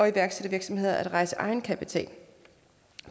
iværksættervirksomheder at rejse egenkapital